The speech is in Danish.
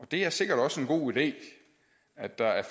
det er sikkert også en god idé at der er